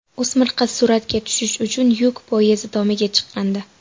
O‘smir qiz suratga tushish uchun yuk poyezdi tomiga chiqqandi.